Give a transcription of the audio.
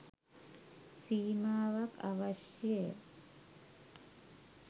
සීමාවක් අවශ්‍ය ය.